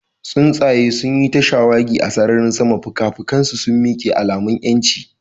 Tsuntsaye sun yi ta shawagi a sararin sama, fikafikansu a miƙe, alamun 'yanci.